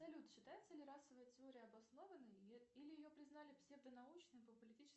салют считается ли расовая теория обоснованной или ее признали псевдо научной по политическим